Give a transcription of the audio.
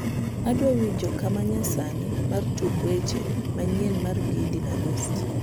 adwa winjo kama nyasani mar tuk weche manyien mar gidi na gost